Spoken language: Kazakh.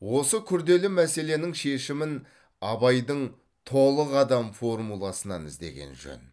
осы күрделі мәселенің шешімін абайдың толық адам формуласынан іздеген жөн